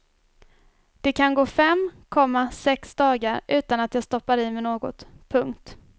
Det kan gå fem, komma sex dagar utan att jag stoppar i mig något. punkt